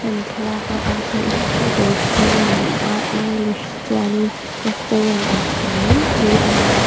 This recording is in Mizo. hemi thlalak a kan hmuh hi chu dawr chhung a ni a english chuanin restaurent kan tih ang mai hi ani.